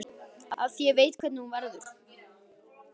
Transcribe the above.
Af því ég veit hvernig hún verður.